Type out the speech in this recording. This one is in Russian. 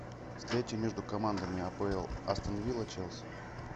встреча между командами апл астон вилла челси